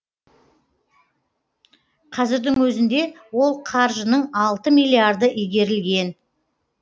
қазірдің өзінде ол қаржының алты миллиарды игерілген